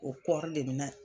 O .